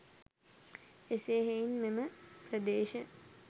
එසේ හෙයින් මෙම ප්‍රදේශ